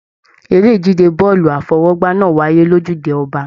Eré ìje bọọlu afọwọ́gbá náà wáyé l'ojude Ọba.